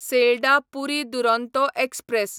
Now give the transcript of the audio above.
Sealdah Puri Duronto express